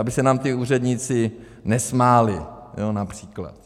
Aby se nám ti úředníci nesmáli, například.